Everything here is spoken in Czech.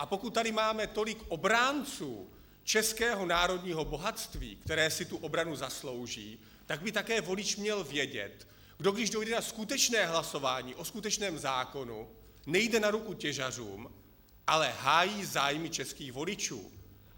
A pokud tady máme tolik obránců českého národního bohatství, které si tu obranu zaslouží, tak by také volič měl vědět, že když dojde na skutečné hlasování o skutečném zákonu, nejde na ruku těžařům, ale hájí zájmy českých voličů.